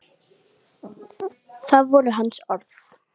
Það voru hans orð.